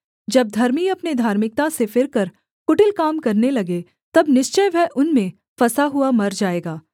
जब धर्मी अपने धार्मिकता से फिरकर कुटिल काम करने लगे तब निश्चय वह उनमें फँसा हुआ मर जाएगा